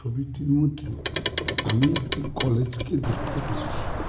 ছবিটির মধ্যে আমি একটি কলেজকে দেখতে পারছি.